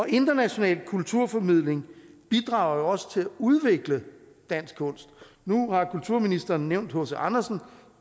international kulturformidling bidrager jo også til at udvikle dansk kunst nu har kulturministeren nævnt h c andersen